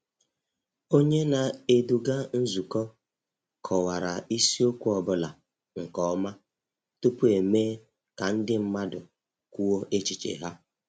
Onye na-eduga nzukọ kọwara isiokwu ọ bụla nke ọma tupu emee ka ndị mmadụ kwuo echiche ha.